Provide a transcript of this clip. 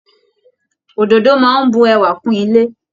Òdòdó máa ń bu ẹwà kún ilé